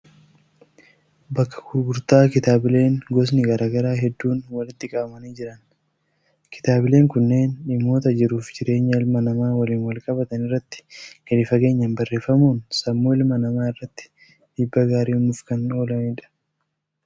Bakka gurgurtaa kitaabileen gosni garaa garaa hedduun walitti qabamanii jiran. Kitaabileen kunneen dhimmoota jiruuf jireenya ilma namaa waliin wal-qabatan irratti gadi fageenyaan barreeffamuun sammuu ilma namaa irratti dhiibbaa gaarii uumuuf kan oolanidha.